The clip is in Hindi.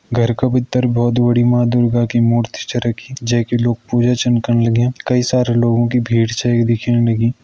घर का भीतर बहौत बड़ी माँ दुर्गा की मूर्ति च रखीं जे की लोग पूजा छन करना लाग्यां कई सारा लोगों की भीड़ छै यख दिखेण लगीं।